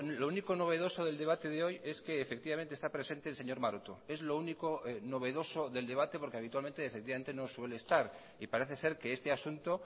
lo único novedoso del debate de hoy es que efectivamente está presente el señor maroto es lo único novedoso del debate porque habitualmente efectivamente no suele estar y parece ser que este asunto